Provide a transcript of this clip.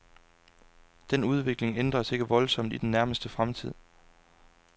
Den udvikling ændres ikke voldsomt i den nærmeste fremtid.